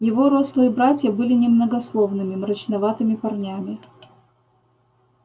его рослые братья были немногословными мрачноватыми парнями